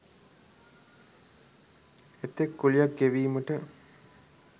එතෙක් කුලියක් ගෙවීමට